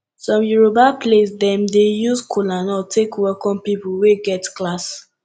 som yoroba place dem dey use kolanut take welkom pipol wey get class